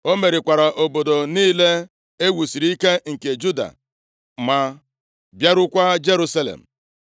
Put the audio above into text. O merikwara obodo niile e wusiri ike nke Juda ma bịarukwaa Jerusalem.